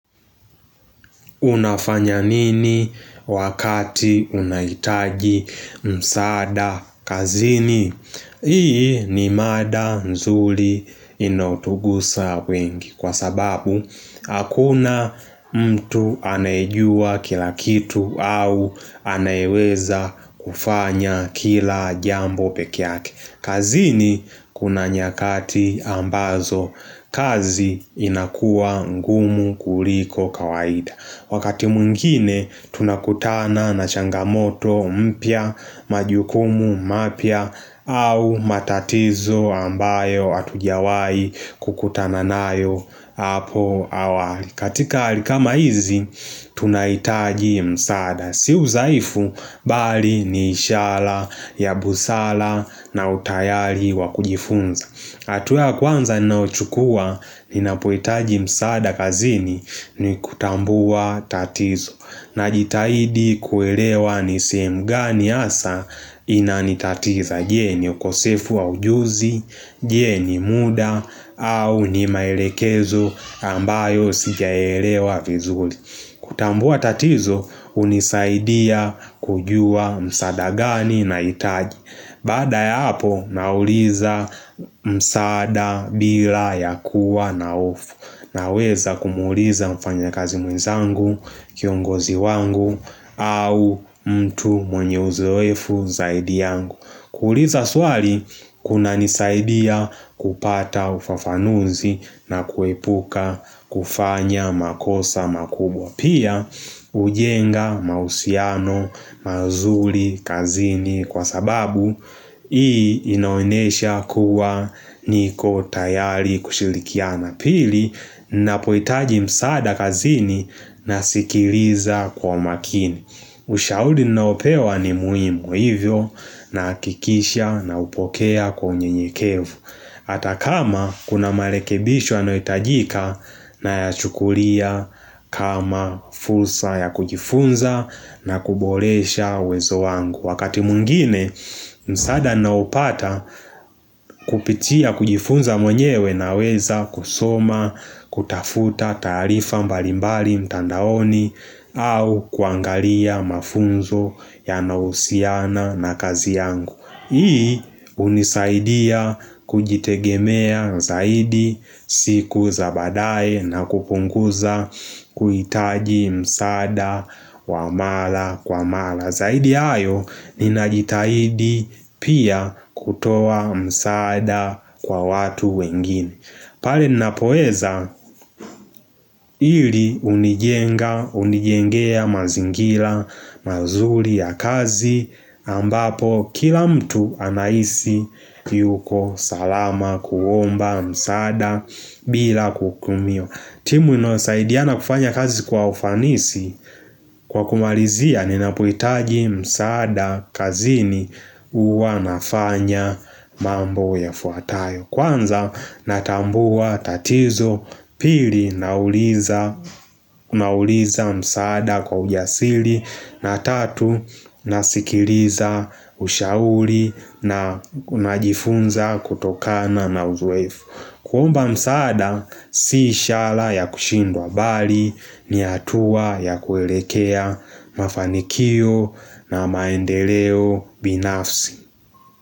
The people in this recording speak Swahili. Unafanya nini wakati unahitaji msaada kazini? Hii ni mada nzuri inayotugusa wengi kwa sababu Hakuna mtu anayejua kila kitu au anayeweza kufanya kila jambo peke yake kazini kuna nyakati ambazo kazi inakua ngumu kuliko kawaida Wakati mwngine, tunakutana na changamoto, mpya, majukumu, mapya, au matatizo ambayo hatujiwahi kukutana nayo hapo awali katika hali kama hizi, tunahitaji msaada Si udhaifu, bali ni ishara, ya busara na utayari wakujifunza hatua ya kwanza ninaouchukua ninapohitaji msaada kazini ni kutambua tatizo Najitahidi kuelewa ni sehemu gani hasa inanitatiza je ni ukosefu wa ujuzi, je ni muda au ni maelekezo ambayo sijaelewa vizuri kutambua tatizo hunisaidia kujua msaada gani nahitaji Baada ya hapo nauliza msaada bila ya kuwa na hofu Naweza kumuuliza mfanya kazi mwenzangu, kiongozi wangu au mtu mwenye uzoefu zaidi yangu kuuliza swali kuna nisaidia kupata ufafanuzi na kuepuka kufanya makosa makubwa Pia hujenga mahusiano mazuri kazini kwa sababu inaonyesha kuwa niko tayari kushirikiana pili na ninapohitaji msaada kazini nasikiliza kwa makini Ushauri ninaopewa ni muhimu hivyo nahakikisha napokea kwa unyenyekevu Hata kama kuna marekebisho yanayohitajika nayachukulia kama fursa ya kujifunza na kuboresha uwezo wangu Wakati mwingine msaada naopata kupitia kujifunza mwenyewe naweza kusoma kutafuta taarifa mbalimbali mtandaoni au kuangalia mafunzo yanayohusiana na kazi yangu Hii hunisaidia kujitegemea zaidi siku za badae na kupunguza kuhitaji msada wa mara kwa mara Zaidi ya hayo ninajitahidi pia kutoa msaada kwa watu wengine pale ninapoweza hili hunijenga, hunijengea mazingira, mazuri ya kazi ambapo kila mtu anahisi yuko salama kuomba msaada bila kuhukumiwa. Timu inayosaidiana kufanya kazi kwa ufanisi kwa kumalizia ninapohitaji msaada kazini huwa nafanya mambo yafuatayo. Kwanza natambua tatizo pili nauliza msaada kwa ujasiri na tatu nasikiliza ushauri na najifunza kutokana na uzoefu kuomba msaada si ishara ya kushindwa bali ni hatua ya kuelekea mafanikio na maendeleo binafsi.